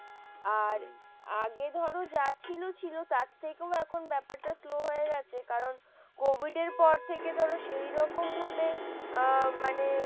আর আগে ধরো যা ছিল ছিল তার থেকেও এখন ব্যাপারটা slow হয়ে গেছে কারণ কোভিডের পর থেকে ধরো সেই রকম ভাবে আহ মানে,